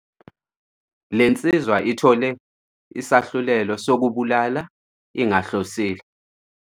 Le nsizwa ithole isahlulelo sokubulala ingahlosile.